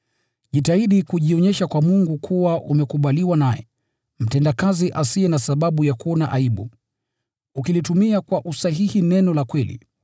Jitahidi kujionyesha kwa Mungu kuwa umekubaliwa naye, mtendakazi asiye na sababu ya kuona aibu, ukilitumia kwa usahihi neno la kweli.